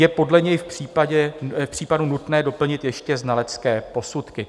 Je podle něj v případu nutné doplnit ještě znalecké posudky.